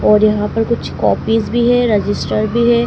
और यहां पर कुछ कॉपीस भी है रजिस्टर भी है।